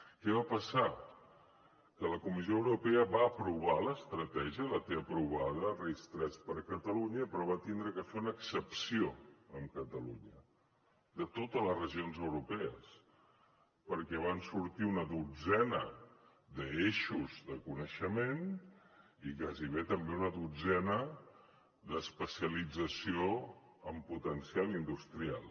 què va passar que la comissió europea va aprovar l’estratègia la té aprovada el ris3 per a catalunya però va haver de fer una excepció amb catalunya de totes les regions europees perquè van sortir una dotzena d’eixos de coneixement i gairebé també una dotzena d’especialització amb potencial industrial